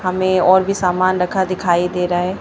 हमें और भी सामान रखा दिखाई दे रहा है।